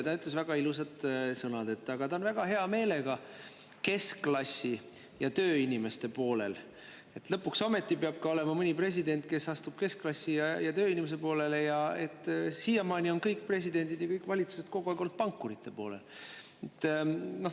Ta ütles väga ilusad sõnad: ta on väga hea meelega keskklassi ja tööinimeste poolel, et lõpuks ometi peab ju olema ka mõni president, kes astub keskklassi ja tööinimeste poolele, et siiamaani on kõik presidendid ja kõik valitsused olnud kogu aeg pankurite poolel.